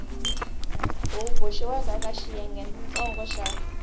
lowu boxiweke eka xiyengentsongo xa